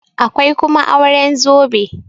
akwai kuma auren zobe